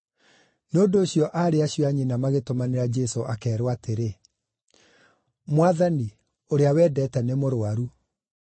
Nĩ ũndũ ũcio aarĩ acio a nyina magĩtũmanĩra Jesũ akeerwo atĩrĩ, “Mwathani, ũrĩa wendete nĩmũrũaru.”